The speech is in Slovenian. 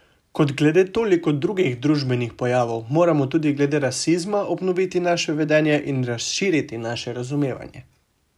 Kot glede toliko drugih družbenih pojavov, moramo tudi glede rasizma obnoviti naše vedenje in razširiti naše razumevanje.